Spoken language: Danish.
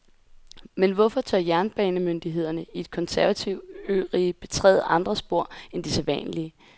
Men hvorfor tør jernbanemyndighederne i et konservativt ørige betræde andre spor end de sædvanlige?